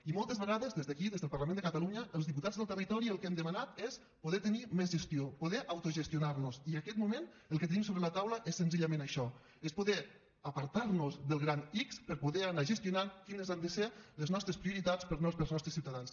i moltes vegades des d’aquí des del parlament de catalunya els diputats del territori el que hem demanat és poder tenir més gestió poder autogestionar nos i en aquest moment el que tenim sobre la taula és senzillament això és poder apartar nos del gran ics per poder anar gestionant quines han de ser les nostres prioritats per als nostres ciutadans